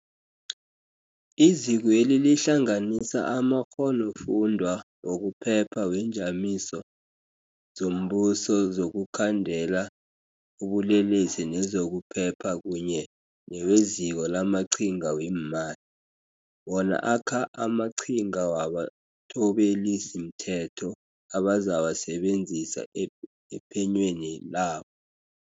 Izikweli lihlanganisa amakghonofundwa wokuphepha weenjamiso zombuso zokukhandela ubulelesi nezokuphepha kunye neweZiko lamaQhinga weeMali, wona akha amaqhinga wabathobelisimthetho abazawasebenzisa ephe nyweni labo.